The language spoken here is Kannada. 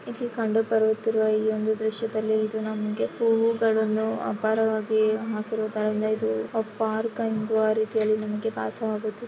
ಇಲ್ಲಿ ಕಂಡು ಬರುತ್ತಿರುವ ಈ ಒಂದು ದೃಶ್ಯದಲ್ಲಿ ಇದು ನಮಗೆ ಹೂಗಳನ್ನು ಅಪಾರವಾಗಿ ಹಾಕಿರೋ ತರ ಇಂದ ಇದು ಅ ಪಾರ್ಕು ಅಂದು ಅನ್ನೋ ರೀತಿಯಲ್ಲಿ ನಮಗೆ ಭಾಸವಾಗುತ್ತಿದೆ.